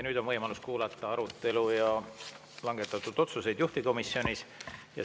Nüüd on võimalus kuulata juhtivkomisjonis toimunud arutelu ja langetatud otsuseid.